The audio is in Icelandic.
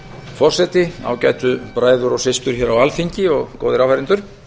forseti ágætu bræður og systur hér á alþingi og góðir áheyrendur